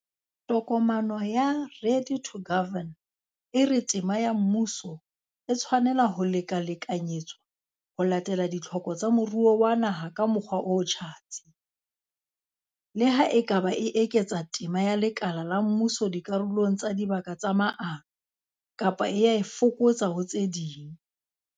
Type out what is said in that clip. Tokomane ya 'Ready to Govern' e re tema ya mmuso "e tshwanela ho lekalekanyetswa ho latela ditlhoko tsa moruo wa naha ka mokgwa o tjhatsi", le ha e ka ba e eketsa tema ya lekala la mmuso dikarolong tsa dibaka tsa maano, kapa e a e fokotsa ho tse ding.